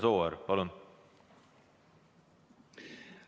Imre Sooäär, palun!